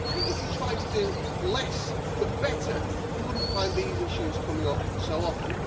If you tried to do less but better you would not find these issues coming up so often.